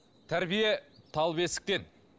тәрбие тал бесіктен